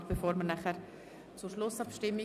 Danach kommen wir zur Schlussabstimmung.